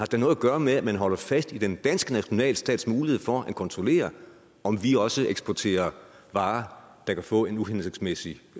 da noget at gøre med at man holder fast i den danske nationalstats mulighed for at kontrollere om vi også eksporterer varer der kan få en uhensigtsmæssig